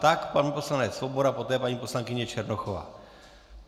Tak pan poslanec Svoboda, poté paní poslankyně Černochová.